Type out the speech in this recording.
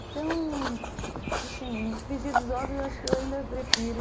Então, assim, no frigir dos ovos eu acho que eu ainda prefiro...